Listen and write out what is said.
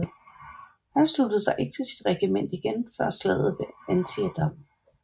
Han sluttede sig ikke til sit regiment igen før efter slaget ved Antietam